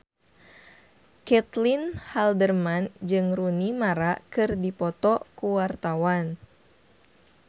Caitlin Halderman jeung Rooney Mara keur dipoto ku wartawan